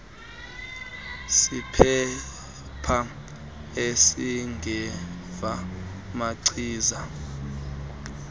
sephepha esingeva machiza